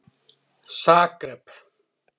Zagreb